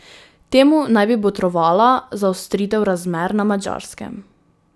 Temu naj bi botrovala zaostritev razmer na Madžarskem.